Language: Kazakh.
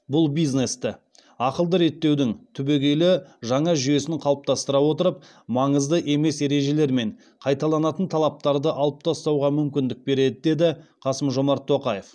бұл бизнесті ақылды реттеудің түбегейлі жаңа жүйесін қалыптастыра отырып маңызды емес ережелер мен қайталанатын талаптарды алып тастауға мүмкіндік береді деді қасым жомарт тоқаев